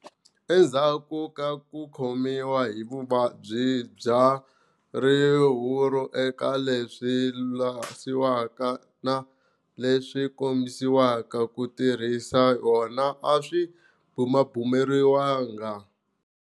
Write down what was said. Endzhaku ka ku khomiwa hi vuvabyi bya rihuru eka leswi lwasiwaka na leswi kombisiweke. Ku tirhisa yona a swi bumabumeriwanga.